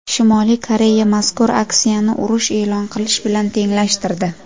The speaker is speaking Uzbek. Shimoliy Koreya mazkur aksiyani urush e’lon qilish bilan tenglashtirdi.